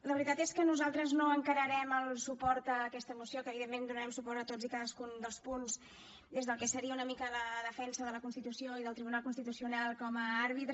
la veritat és que nosaltres no encararem el suport a aquesta moció que evidentment donarem suport a tots i cadascun dels punts des del que seria una mica la defensa de la constitució i del tribunal constitucional com a àrbitre